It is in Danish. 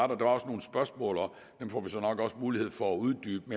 der var også nogle spørgsmål og dem får vi nok mulighed for at uddybe